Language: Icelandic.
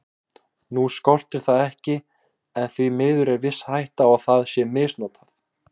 Nú skortir það ekki en því miður er viss hætta á að það sé misnotað.